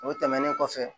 O tɛmɛnen kɔfɛ